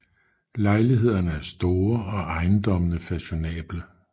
Lejlighederne er store og ejendommene fashionable